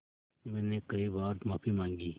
मैंने कई बार माफ़ी माँगी